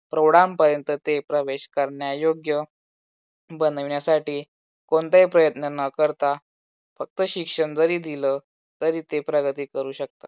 प्रौढांपर्यंत ते प्रवेश करण्यायोग्य बनविण्यासाठी कोणताही प्रयत्न न करता फक्त शिक्षण जरी दिल तरी ते प्रगती करू शकतात.